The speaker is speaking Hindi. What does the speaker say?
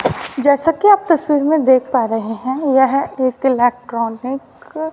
जैसा कि आप तस्वीर में देख पा रहे हैं यह एक इलेक्ट्रॉनिक --